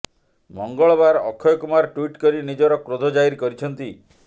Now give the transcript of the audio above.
ମଙ୍ଗଳବାର ଅକ୍ଷୟ କୁମାର ଟ୍ବିଟ୍ କରି ନିଜର କ୍ରୋଧ ଜାହିର କରିଛନ୍ତି